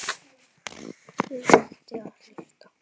Ég hætti að hlusta.